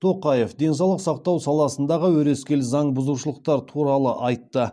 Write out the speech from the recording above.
тоқаев денсаулық сақтау саласындағы өрескел заң бұзушылықтар туралы айтты